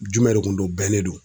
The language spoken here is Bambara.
Jumɛn de kun do bɛnnen do.